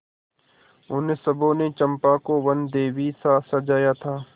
उन सबों ने चंपा को वनदेवीसा सजाया था